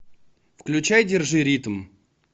включай держи ритм